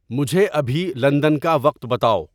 مجھے ابھی لندن کا وقت بتاؤ